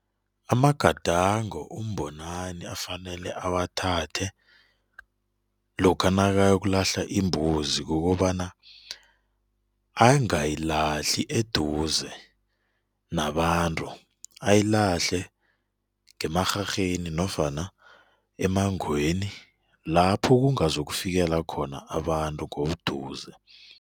Amagadango uMbonani afanele awathathe lokha nakayokulahla imbuzi kukobana angayilahli eduze nabantu, ayilahle ngemarharheni nofana emangweni lapho kungazokufikela khona abantu ngobuduze.